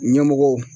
Ɲɛmɔgɔw